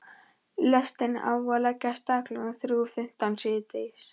Lestin á að leggja af stað klukkan þrjú fimmtán síðdegis.